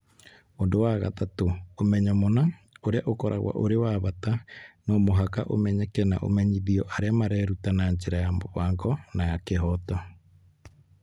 Ũndũ wa gatatũ, ũmenyo mũna, ũrĩa ũkoragwo ũrĩ wa bata, no mũhaka ũmenyeke na ũmenyithio arĩa mareruta na njĩra ya mũbango na ya kĩhooto.